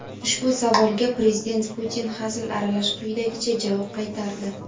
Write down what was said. Ushbu savolga Prezident Putin hazil aralash quyidagicha javob qaytardi:.